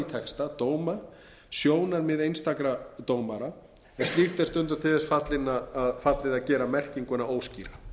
texta dóma sjónarmið einstakra dómara en slíkt er stundum til þess fallið að gera merkinguna óskýra